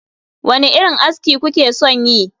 Wane irin aski kuke son yi?